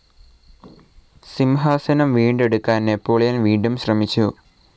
സിംഹാസനം വീണ്ടെടുക്കാൻ നാപ്പോളിയൻ വീണ്ടും ശ്രമിച്ചു.